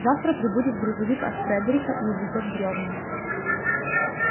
завтра прибудет грузовик от фредерика и увезёт бревна